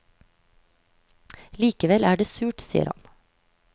Likevel er det surt, sier han.